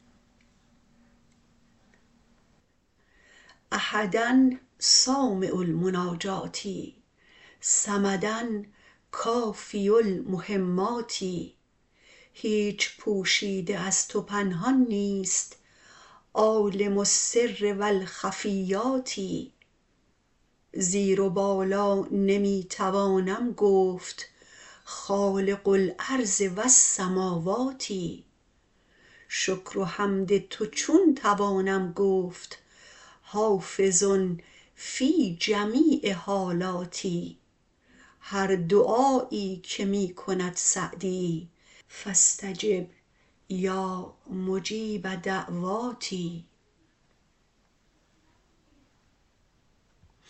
احدا سامع المناجات صمدا کافی المهمات هیچ پوشیده از تو پنهان نیست عالم السر و الخفیات زیر و بالا نمی توانم گفت خالق الارض والسموات شکر و حمد تو چون توانم گفت حافظ فی جمیع حالات هر دعایی که می کند سعدی فاستجب یا مجیب دعوات